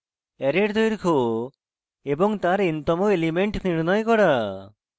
array এর দৈর্ঘ্য এবং তার n to এলিমেন্ট নির্ণয় করা